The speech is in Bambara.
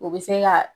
U bɛ se ka